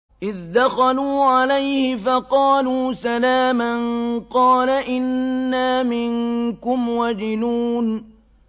إِذْ دَخَلُوا عَلَيْهِ فَقَالُوا سَلَامًا قَالَ إِنَّا مِنكُمْ وَجِلُونَ